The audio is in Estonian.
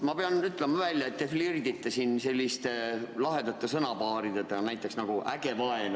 Ma pean ütlema välja, et te flirdite siin selliste lahedate sõnapaaridega nagu "äge vaen".